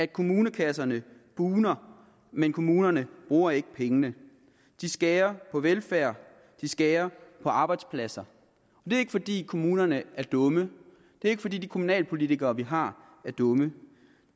kommunekasserne bugner men kommunerne bruger ikke pengene de skærer på velfærd de skærer på arbejdspladser det er ikke fordi kommunerne er dumme det er ikke fordi de kommunalpolitikere vi har er dumme